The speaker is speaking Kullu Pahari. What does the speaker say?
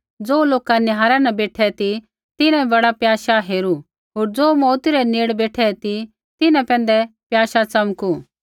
ज़ो लोका निहारै न बेठै ती तिन्हैं बड़ा प्याशा हेरू होर ज़ो मौऊती रै नेड़ बेठै ती तिन्हां पैंधै प्याशा च़मकू